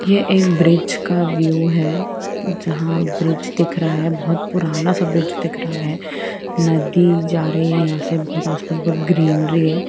यह एक ब्रिज का व्यू है जहा ब्रिज दिख रहा है बहुत पुराना सा ब्रिज दिख रहा है नदी जा रही है यहा आस पास बोहत ग्रीनरी है।